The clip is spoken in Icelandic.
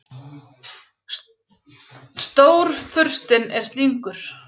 Stórfurstinn er slyngur.